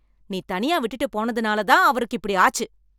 நீ தனியா விட்டுட்டு போனதுனால தான் அவருக்கு இப்படி ஆச்சு